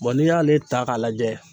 n'i y'ale ta k'a lajɛ